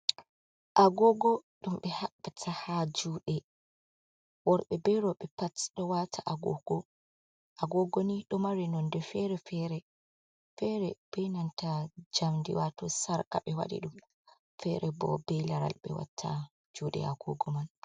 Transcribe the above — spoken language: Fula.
"Agogo" ɗum ɓe habbata ha juɗe worɓe ɓe roɓe pat do wata agogo ni ɗo mari nonde fere fere, fere be inanta jamdi wato sarka ɓe waɗi ɗum fere bo be laral ɓe watta juɗ agogo man.